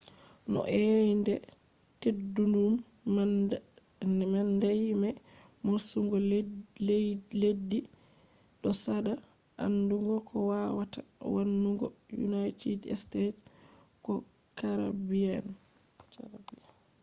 no eyende teddudum man dayi be morsugo leddi do sada andugo ko wawata wannugo united states ko caribbean